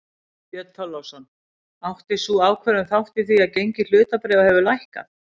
Björn Þorláksson: Átti sú ákvörðun þátt í því að gengi hlutabréfa hefur lækkað?